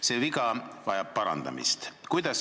See viga vajab parandamist.